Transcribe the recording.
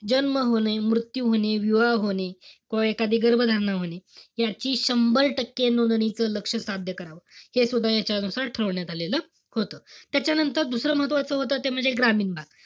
जन्म होणे, मृत्यू होणे, विवाह होणे, किंवा एखादी गर्भधारणा होणे, याची संभार टक्के नोंदणीच लक्ष्य साध्य करावं. हे सुद्धा ह्याच्यावर ठरवण्यात आलेलं होतं. त्याच्यानंतर, दुसरं महत्वाचं होतं ते म्हणजे ग्रामीण भाग.